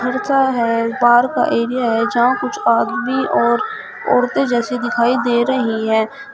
है park area जहां कुछ आदमी और औरते जैसी दिखाईं दे रही हैं।